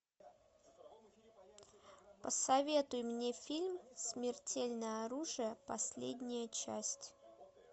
посоветуй мне фильм смертельное оружие последняя часть